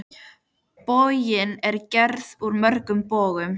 Borgin er gerð úr mörgum borgum.